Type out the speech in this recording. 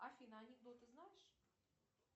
афина анекдоты знаешь